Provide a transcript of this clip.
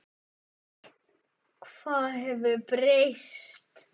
Hvað hefur breyst?